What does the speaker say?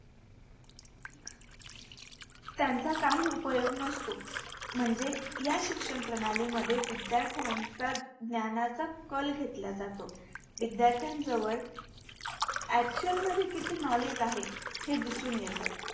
त्यांचा काही उपयोग नसतो म्हणजे या शिक्षणप्रणाली मध्ये विद्यार्थ्यांचा ज्ञानाचा कल घेतला जातो. विध्यार्थ्याजवळ Actual मध्ये किती Knowledge आहे हे दिसून येते.